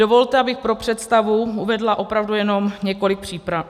Dovolte, abych pro představu uvedla opravdu jenom několik příkladů.